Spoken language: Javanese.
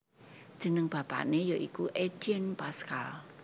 Jeneng bapané ya iku Étienne Pascal